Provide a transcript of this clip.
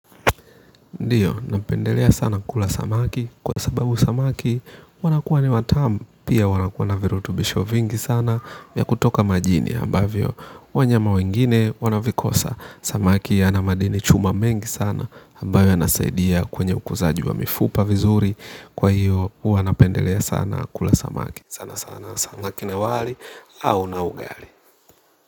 Ndii napendelea sana kula samaki kwa sababu samaki wanakuwa ni watamu pia wana kuwa na virutubisho vingi sana ya kutoka majini ambavyo wanyama wengine wana vikosa samaki ya na madini chuma mengi sana ambayo yanasaidia kwenye ukuzaji wa mifupa vizuri kwa hiyo huwa napendelea sana kula samaki. Sana sana samaki na wali au na ugali.